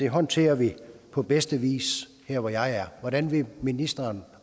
håndterer vi på bedste vis her hvor jeg er hvordan vil ministeren